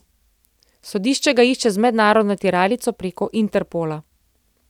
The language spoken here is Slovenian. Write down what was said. Sodišče ga išče z mednarodno tiralico preko Interpola.